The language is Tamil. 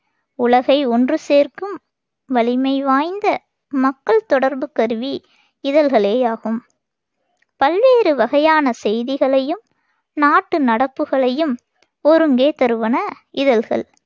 உலகை ஒன்று சேர்க்கும் வலிமை வாய்ந்த மக்கள் தொடர்புக் கருவி இதழ்களேயாகும் பல்வேறு வகையான செய்திகளையும், நாட்டுநடப்புகளையும் ஒருங்கே தருவன இதழ்கள்.